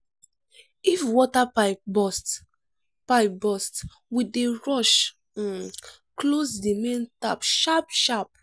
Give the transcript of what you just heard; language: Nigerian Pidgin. if water pipe burst pipe burst we dey rush um close di main tap sharp-sharp.